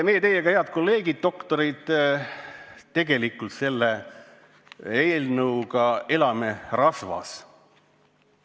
Meie teiega, head kolleegid, doktorid, elame selle eelnõuga tegelikult rasvas.